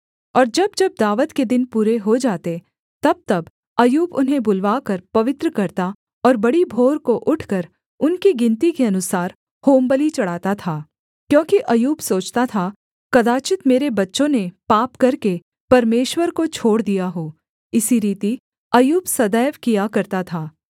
और जब जब दावत के दिन पूरे हो जाते तबतब अय्यूब उन्हें बुलवाकर पवित्र करता और बड़ी भोर को उठकर उनकी गिनती के अनुसार होमबलि चढ़ाता था क्योंकि अय्यूब सोचता था कदाचित् मेरे बच्चों ने पाप करके परमेश्वर को छोड़ दिया हो इसी रीति अय्यूब सदैव किया करता था